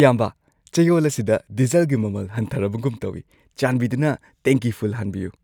ꯏꯌꯥꯝꯕ, ꯆꯌꯣꯜ ꯑꯁꯤꯗ ꯗꯤꯖꯜꯒꯤ ꯃꯃꯜ ꯍꯟꯊꯔꯕꯒꯨꯝ ꯇꯧꯋꯤ꯫ ꯆꯥꯟꯕꯤꯗꯨꯅ ꯇꯦꯡꯀꯤ ꯐꯨꯜ ꯍꯥꯟꯕꯤꯌꯨ꯫